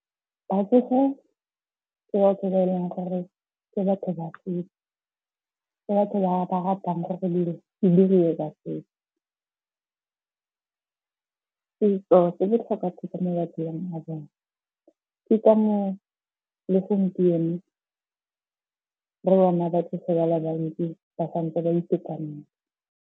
Batsofe ke batho ba eleng gore ke batho ba setso, ke batho ba ba ratang gore dilo di dirwe ka setso. Setso se botlhokwa thata mo matshelong a bone. Ke ka moo le gompieno re bona ba tlogelela bantsi ba santse ba itekanetse.